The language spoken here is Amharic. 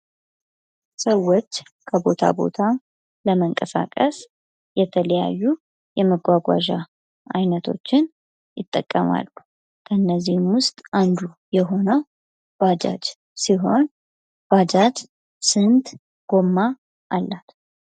ሰዎች ከቦታ ቦታ ለመንቀሳቀስ የተለያዩ የመጓጓዣ አይቶችን ይጠቀማሉ ። እነዚህም ውስጥ አንዱ የሆነው ባጃጅ ሲሆን ባጃጅ ስንት ጎማ አላት ?